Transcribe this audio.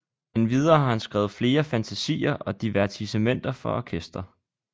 Endvidere har han skrevet flere fantasier og divertissementer for orkester